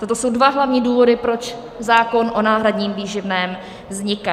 Toto jsou dva hlavní důvody, proč zákon o náhradním výživném vzniká.